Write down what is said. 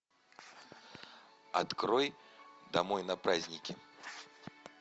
открой домой на праздники